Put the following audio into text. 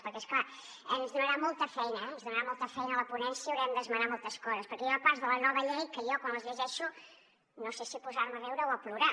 perquè és clar ens donarà molta feina eh ens donarà molta feina a la ponència haurem d’esmenar moltes coses perquè hi ha parts de la nova llei que jo quan les llegeixo no sé si posar me a riure o a plorar